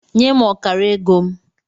Nye m ọkara ego m!